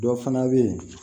Dɔ fana bɛ yen